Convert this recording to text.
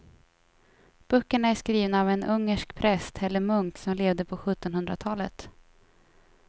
Böckerna är skrivna av en ungersk präst eller munk som levde på sjuttonhundratalet.